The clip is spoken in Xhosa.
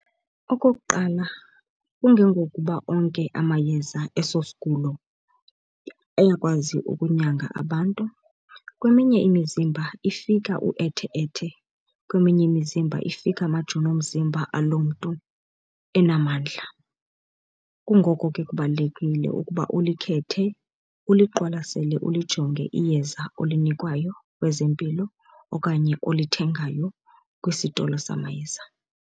Okokuqala, kungengokuba onke amayeza eso sigulo ayakwazi ukunyanga abantu, kweminye imizimba ifika uethe-ethe, kweminye imizimba ifika amajoni omzimba aloo mntu enamandla. Kungoko ke kubalulekile ukuba ulikhethe uliqwalasele ulijonge iyeza olinikwayo kwezempilo okanye olithengayo kwisitolo samayeza.